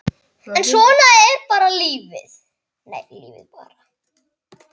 Altari í heiðnu hofi.